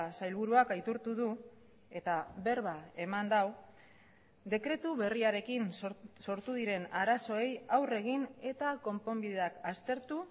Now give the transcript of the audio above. sailburuak aitortu du eta berba eman du dekretu berriarekin sortu diren arazoei aurre egin eta konponbideak aztertu